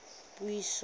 puiso